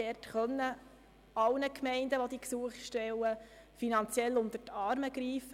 Wir wollen allen Gemeinden, welche diese Gesuche stellen, finanziell unter die Arme greifen.